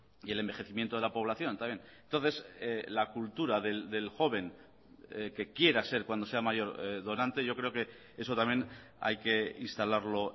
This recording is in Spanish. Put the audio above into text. y el envejecimiento de la población también entonces la cultura del joven que quiera ser cuando sea mayor donante yo creo que eso también hay que instalarlo